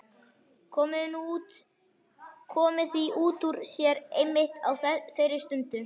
Komið því út úr sér einmitt á þeirri stundu.